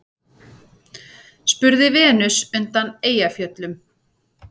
spurði Venus undan Eyjafjöllum.